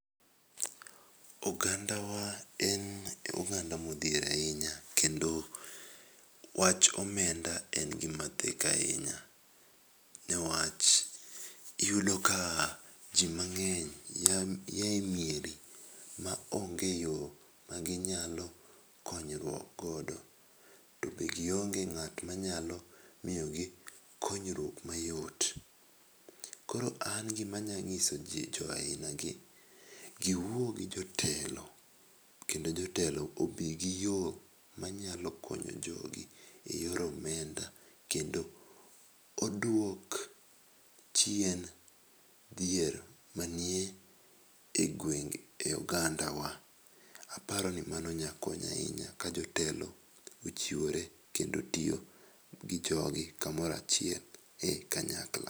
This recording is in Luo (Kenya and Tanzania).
Oganda wa en oganda ma odhier ahinya kendo wach omenda en gi ma theko ahinya ni wach iyudo ka ji mang'eny ya e mieri ma onge yoo ma gi nyalo konyo go to be gi onge kata ng'a ma nya miyo gi konyruok mayot. Koro an gi ma anya ng'iso ji aina gi mondo gi wuo gi jotelo kendo jotelo obi gi yo ma nya konyo jogi e yo omenda kendo odwog chien dhier ma ni e gwenge e oganda wa aparoni mano nya konyo ahinya ka jotelo ochiwore kendo tiyo gi jo gi ka moro achiel kanyakla.